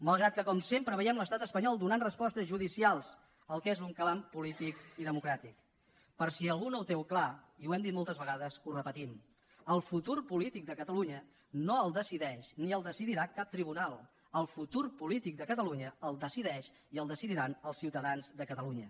malgrat que com sempre veiem l’estat espanyol donant respostes judicials al que és un clam polític i democràtic per si algú no ho té clar i ho hem dit moltes vegades ho repetim el futur polític de catalunya no el decideix ni el decidirà cap tribunal el futur polític de catalunya el decideix i el decidiran els ciutadans de catalunya